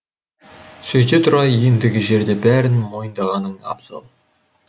сөйте тұра ендігі жерде бәрін мойындағаның абзал